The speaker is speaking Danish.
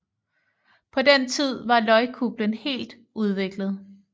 På den tid var løgkuplen helt udviklet